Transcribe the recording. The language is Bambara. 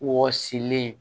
Wɔɔsilen